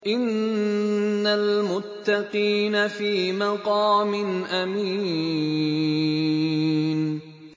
إِنَّ الْمُتَّقِينَ فِي مَقَامٍ أَمِينٍ